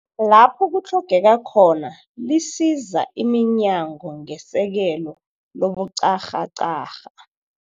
Lapho kutlhogeka khona, lisiza iminyango ngesekelo lobuqharhaqharha.